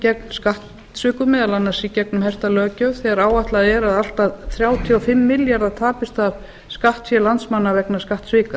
gegn skattsvikum meðal annars í gegnum herta löggjöf þegar áætlað er að allt að þrjátíu og fimm milljarðar tapist af skattfé landsmanna vegna skattsvika